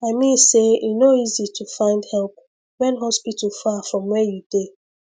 i mean say e no easy to find help when hospital far from where you dey